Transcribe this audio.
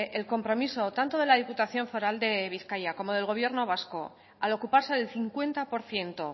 el compromiso tanto de la diputación foral de bizkaia como del gobierno vasco al ocuparse del cincuenta por ciento